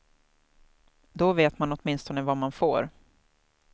Då vet man åtminstone vad man får.